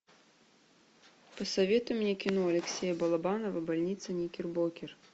посоветуй мне кино алексея балабанова больница никербокер